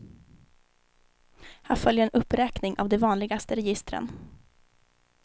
Här följer en uppräkning av de vanligaste registren.